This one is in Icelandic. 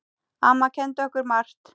Amma kenndi okkur margt.